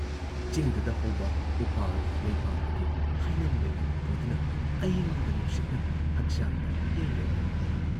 ꯆꯤꯡꯗꯨꯨꯗ ꯍꯧꯕ ꯎꯄꯥꯜ, ꯂꯩꯄꯥꯜꯗꯒꯤ ꯍꯩꯅꯝ‑ꯂꯩꯅꯝ ꯄꯨꯗꯨꯅ, ꯑꯏꯪꯕ ꯅꯨꯡꯁꯤꯠꯅ ꯍꯛꯆꯥꯡꯗ ꯌꯩꯔꯩ ꯫